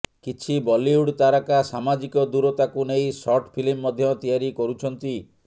କିଛି ବଲିଉଡ ତାରକା ସାମାଜିକ ଦୂରତାକୁ ନେଇ ସର୍ଟ ଫିଲ୍ମ ମଧ୍ୟ ତିଆରି କରୁଛନ୍ତି